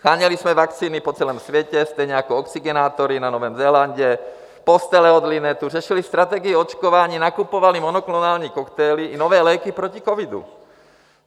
Sháněli jsme vakcíny po celém světě, stejně jako oxygenátory na Novém Zélandu, postele od LINETu, řešili strategie očkování, nakupovali monoklonální koktejly i nové léky proti covidu.